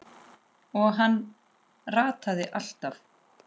Og hann rataði alltaf.